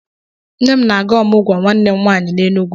Nne m na-aga ọmụgwọ nwanne m nwaanyị n'Enugwu.